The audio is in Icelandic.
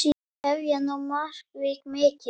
Hefjast nú mannvíg mikil.